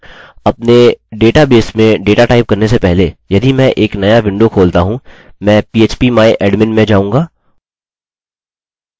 अपने डेटाबेस में data type करने से पहले यदि मैं एक नया विंडो खोलता हूँ मैं php my admin में जाऊँगा